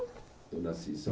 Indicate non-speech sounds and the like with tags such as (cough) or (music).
Eu nasci (unintelligible)